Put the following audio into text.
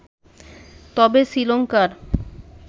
তবে শ্রীলংকার